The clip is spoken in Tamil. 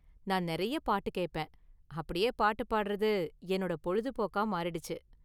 நான் நெறைய பாட்டு கேப்பேன், அப்படியே பாட்டு பாடுறது என்னோட பொழுதுபோக்கா மாறிடுச்சு.